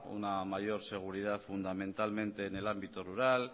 una mayor seguridad fundamentalmente en el ámbito rural